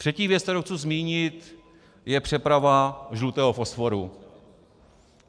Třetí věc, kterou chci zmínit, je přeprava žlutého fosforu.